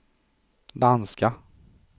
danska